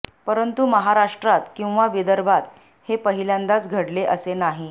परंतु महाराष्ट्रात किंवा विदर्भात हे पहिल्यांदाच घडले असे नाही